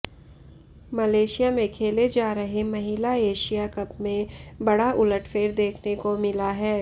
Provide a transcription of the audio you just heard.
Malaysia में खेले जा रहे महिला एशिया कप में बड़ा उलटफेर देखने को मिला है